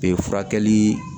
Ee furakɛli